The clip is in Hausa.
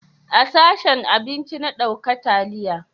A sashen abinci na dauka taliya